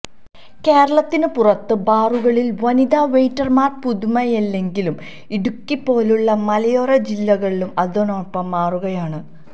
കേരളത്തിന് പുറത്ത് ബാറുകളില് വനിതാ വെയ്റ്റര്മാര് പുതുമയല്ലെങ്കിലും ഇടുക്കി പോലുള്ള മലയോര ജില്ലകളും അതിനൊപ്പം മാറുകയായണ്